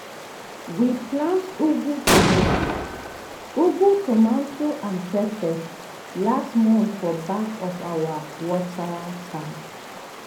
we plant ugu tomato ugu tomato and pepper last month for back of our water tank.